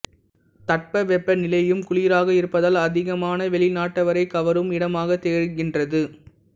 தட்ப வெப்ப நிலையும் குளிராக இருப்பதால் அதிகமான வெளிநாட்டவரைக் கவரும் இடமாகத் திகழ்கின்றது